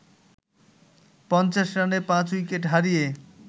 ৫০ রানে পাঁচ উইকেট হারিয়ে